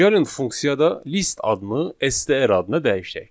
Gəlin funksiyada list adını STR adına dəyişək.